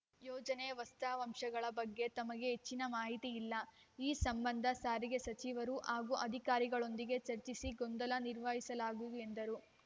ಯೋಜನೆಯ ವಾಸ್ತ ವಾಂಶಗಳ ಬಗ್ಗೆ ತಮಗೆ ಹೆಚ್ಚಿನ ಮಾಹಿತಿ ಇಲ್ಲ ಈ ಸಂಬಂಧ ಸಾರಿಗೆ ಸಚಿವರು ಹಾಗೂ ಅಧಿಕಾರಿಗಳೊಂದಿಗೆ ಚರ್ಚಿಸಿ ಗೊಂದಲ ನಿವಾರಿಸಲಾಗುವುದು ಎಂದರು